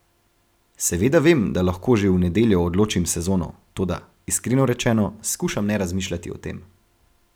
Seveda vem, da lahko že v nedeljo odločim sezono, toda, iskreno rečeno, skušam ne razmišljati o tem.